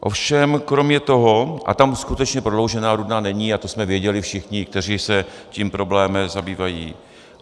Ovšem kromě toho - a tam skutečně Prodloužená Rudná není a to jsme věděli všichni, kteří se tím problémem zabývají.